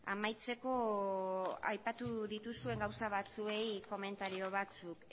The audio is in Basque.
amaitzeko aipatu dituzuen gauza batzuei komentario batzuk